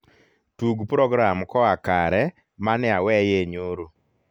tug program koa kare maneaweye nyoro